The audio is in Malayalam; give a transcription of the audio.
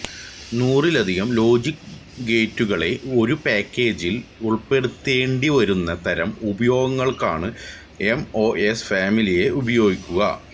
നൂറിലധികം ലോജിക് ഗേറ്റുകളെ ഒരു പാക്കേജിൽ ഉൾപ്പെടുത്തേണ്ടി വരുന്ന തരം ഉപയോഗങ്ങൾക്കാണ് എം ഒ എസ് ഫാമിലിയെ ഉപയോഗിക്കുക